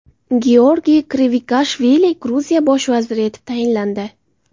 Georgiy Kvirikashvili Gruziya bosh vaziri etib tayinlandi.